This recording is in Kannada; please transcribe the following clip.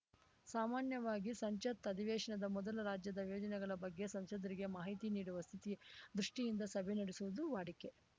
ಸಾಮಾನ್ಯವಾಗಿ ಸಂಸತ್‌ ಅಧಿವೇಶನದ ಮೊದಲು ರಾಜ್ಯದ ಯೋಜನೆಗಳ ಬಗ್ಗೆ ಸಂಸದರಿಗೆ ಮಾಹಿತಿ ನೀಡುವ ಸ್ಥಿತಿ ದೃಷ್ಟಿಯಿಂದ ಸಭೆ ನಡೆಸುವುದು ವಾಡಿಕೆ